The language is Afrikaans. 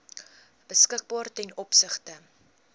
beskikbaar ten opsigte